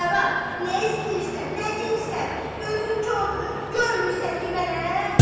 Nə var, nə istəyirsən, nə deyirsən, gözün kordur, görmürsən ki, mənəm?